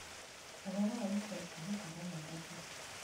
Ũhoro wa ica ikuhĩ kuuma Nairobi